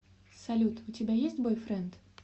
салют у тебя есть бойфренд